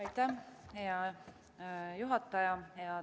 Aitäh, hea juhataja!